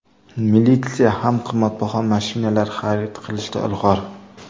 Militsiya ham qimmatbaho mashinalar xarid qilishda ilg‘or.